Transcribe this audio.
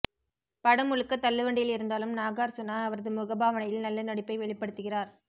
படம் முழுக்க தள்ளு வண்டியில் இருந்தாலும் நாகார்சுணா அவரது முக பாவனையில் நல்ல நடிப்பை வெளிப்படுத்துகிறார்